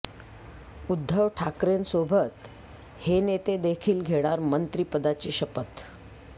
उद्धव ठाकरेंसोबत हे नेते देखील घेणार मंत्रिपदाची शपथ